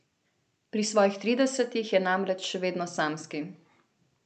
Pri svojih tridesetih je namreč še vedno samski.